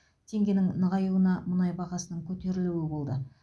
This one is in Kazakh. теңгенің нығаюына мұнай бағасының көтерілуі болды